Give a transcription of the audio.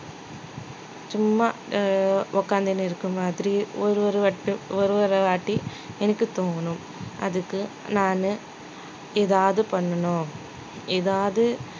சும்மா ஆஹ் உட்கார்ந்திட்டு இருக்க மாதிரி ஒரு ஒரு வாட்டி ஒரு ஒரு வாட்டி எனக்கு தூங்கணும் அதுக்கு நானு ஏதாவது பண்ணணும் ஏதாவது